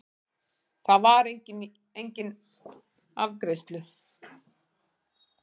Þar var enginn afgreiðslu